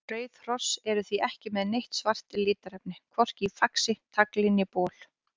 Rauð hross eru því ekki með neitt svart litarefni, hvorki í faxi, tagli né bol.